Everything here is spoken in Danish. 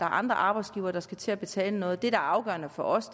andre arbejdsgivere der skal til at betale noget det der er afgørende for os